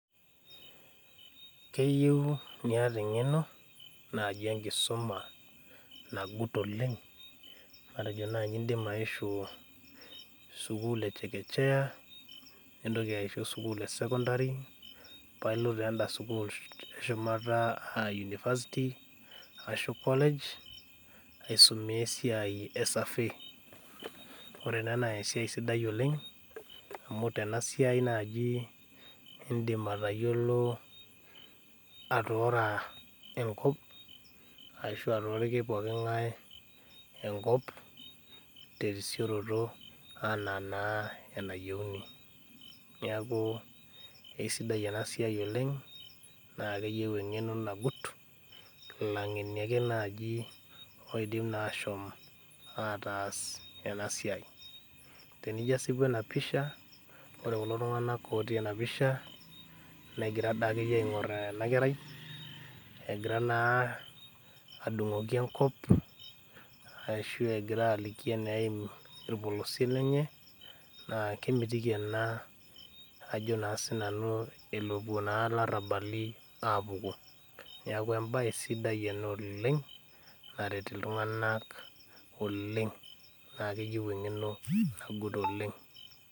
Keyieu niata eng'eno naaji enkisuma nagut oleng matejo naaji indima aishu sukuul e chekechea nintoki aishu sukuul e sekondari pailo taa enda sukuul eshumata aa university ashu college aisumea esiai e survey ore ena naa esiai sidai oleng amu tenasiai naaji indim atayiolo atoora enkop ashu atoriki poking'ae enkop terisioroto anaa naa enayieuni niaku eisidai ena siai oleng naa keyieu eng'eno nagut ilang'eni ake naaji oidim naa ashom ataas ena siai tenijio asipu ena pisha ore kulo tung'anak otii ena pisha negira daa akeyie aing'orr ena kerai egira naa adung'oki enkop ashu egira aliki eneim orpolosie lenye naa kemitiki ena ajo naa sinanu elopuo naa ilarrabali apuku niaku embaye sidai ena oleng naret iltung'anak oleng naa keyieu eng'eno nagut oleng.